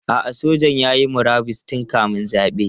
A'a, sojan ya yi murabus tun kamin zabe.